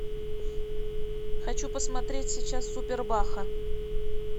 хочу посмотреть сейчас супер баха